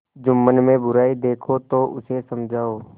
जुम्मन में बुराई देखो तो उसे समझाओ